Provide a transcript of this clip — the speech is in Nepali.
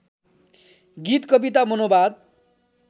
गीत कविता मनोवाद